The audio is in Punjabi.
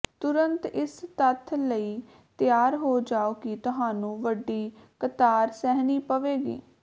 ਤੁਰੰਤ ਇਸ ਤੱਥ ਲਈ ਤਿਆਰ ਹੋ ਜਾਓ ਕਿ ਤੁਹਾਨੂੰ ਵੱਡੀ ਕਤਾਰ ਸਹਿਣੀ ਪਵੇਗੀ